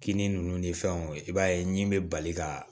Kini ninnu ni fɛnw i b'a ye ni bɛ bali ka